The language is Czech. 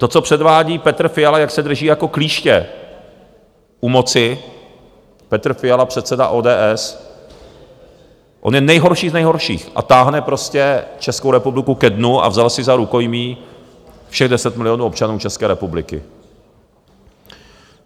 To, co předvádí Petr Fiala, jak se drží jako klíště u moci, Petr Fiala, předseda ODS, on je nejhorší z nejhorších a táhne prostě Českou republiku ke dnu a vzal si za rukojmí všech 10 milionů občanů České republiky!